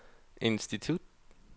institut